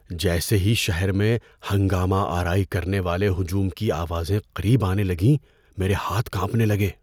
جیسے ہی شہر میں ہنگامہ آرائی کرنے والے ہجوم کی آوازیں قریب آنے لگیں میرے ہاتھ کانپنے لگے۔